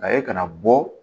A ye kana bɔ